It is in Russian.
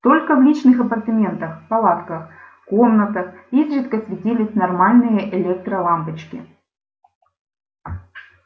только в личных апартаментах палатках комнатах изредка светились нормальные электролампочки